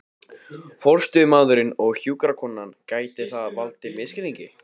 forstöðumaðurinn og hjúkrunarkonan, gæti það valdið misskilningi.